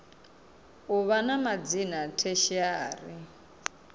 u vha na madzina tertiary